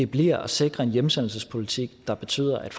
bliver at sikre en hjemsendelsespolitik der betyder at